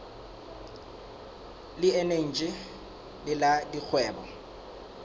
le eneji le la dikgwebo